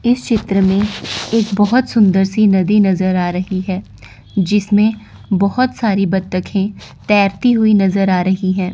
इस चित्र में एक बहोत सुंदर सी नदी नजर आ रही है जिसमें बहोत सारी बत्तखे तैरती हुई नजर आ रही हैं।